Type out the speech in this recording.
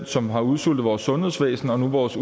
som har udsultet vores sundhedsvæsen og nu vores